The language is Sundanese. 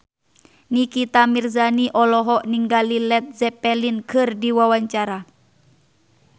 Nikita Mirzani olohok ningali Led Zeppelin keur diwawancara